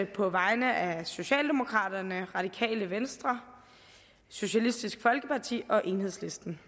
på vegne af socialdemokraterne radikale venstre socialistisk folkeparti og enhedslisten